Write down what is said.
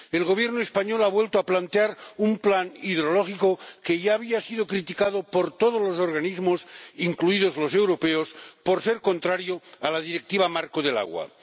El Gobierno español ha vuelto a plantear un plan hidrológico que ya había sido criticado por todos los organismos, incluidos los europeos, por ser contrario a la Directiva marco del agua.